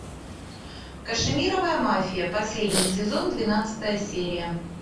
кашемировая мафия последний сезон двенадцатая серия